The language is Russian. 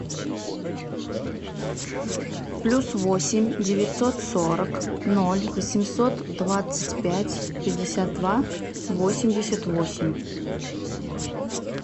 плюс восемь девятьсот сорок ноль восемьсот двадцать пять пятьдесят два восемьдесят восемь